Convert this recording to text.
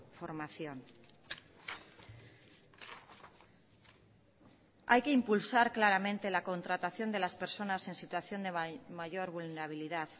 formación hay que impulsar claramente la contratación de las personas en situación de mayor vulnerabilidad